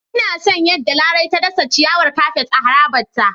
Ina son yadda Larai ta dasa ciyawar kafet a harabarta.